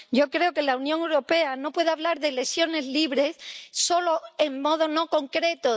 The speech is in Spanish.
Yo creo que la Unión Europea no puede hablar de elecciones libres solo en modo no concreto.